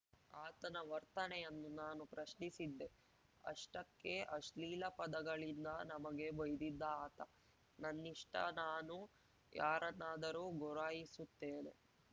ಆತನ ವರ್ತನೆಯನ್ನು ನಾನು ಪ್ರಶ್ನಿಸಿದ್ದೆ ಅಷ್ಟಕ್ಕೆ ಅಶ್ಲೀಲ ಪದಗಳಿಂದ ನಮಗೆ ಬೈದಿದ್ದ ಆತ ನನ್ನಿಷ್ಟನಾನು ಯಾರನ್ನಾದರೂ ಗುರಾಯಿಸುತ್ತೇನೆ